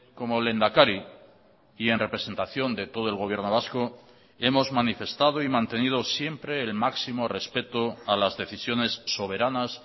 como lehendakari y en representación de todo el gobierno vasco hemos manifestado y mantenido siempre el máximo respeto a las decisiones soberanas